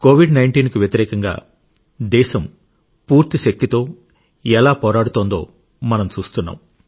COVID19 కు వ్యతిరేకంగా దేశం పూర్తి శక్తితో ఎలా పోరాడుతుందో మనం చూస్తున్నాం